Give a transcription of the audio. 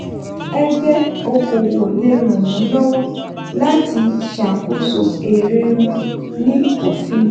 ẹ̀gbẹ́ okòwò le ràn wọ́n lọ́wọ́ láti ṣakoso èrè wọ́n ní òfin.